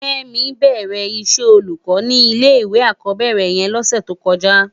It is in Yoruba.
Kemi bèrè iṣè ólúkò ni ilé iwé ákòbèrè yèn lòsè tókòjá